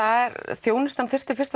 þjónustan þyrfti fyrst